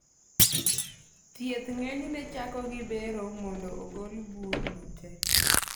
Thieth ng'enyne chako gi bero mondo ogol bur no te